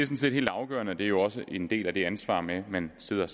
set helt afgørende og det er jo også en del af det ansvar man sidder